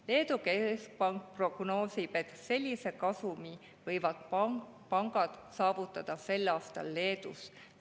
Leedu keskpank prognoosib, et sellise kasumi võivad pangad saavutada sel aastal Leedus.